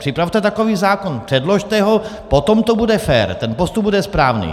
Připravte takový zákon, předložte ho, potom to bude fér, ten postup bude správný.